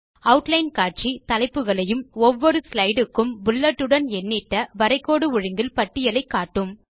outline காட்சி தலைப்புகளையும் ஒவ்வொரு ஸ்லைடு க்கும் புல்லட்டுடன் எண்ணிட்ட வரைகோடு ஒழுங்கில் பட்டியலை காட்டும்